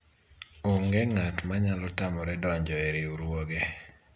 onge ng'at manyalo tamore donjo e riwruoge